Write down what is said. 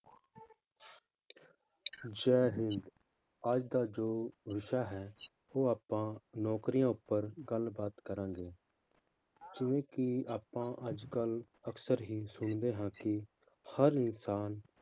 ਜੈ ਹਿੰਦ ਅੱਜ ਦਾ ਜੋ ਵਿਸ਼ਾ ਹੈ ਉਹ ਆਪਾਂ ਨੌਕਰੀਆਂ ਉੱਪਰ ਗੱਲਬਾਤ ਕਰਾਂਗੇ ਜਿਵੇਂ ਕਿ ਆਪਾਂ ਅੱਜ ਕੱਲ੍ਹ ਅਕਸਰ ਹੀ ਸੁਣਦੇ ਹਾਂ ਕਿ ਹਰ ਇਨਸਾਨ